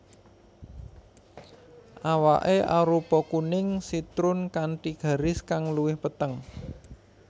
Awaké arupa kuning sitrun kanthi garis kang luwih peteng